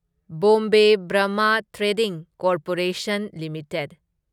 Bombay Burmah trading corporation limited